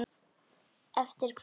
Eftir hverju?